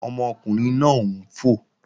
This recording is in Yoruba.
Ọmọkùnrin náà ń fò